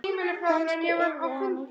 Kannski yrði henni hlíft.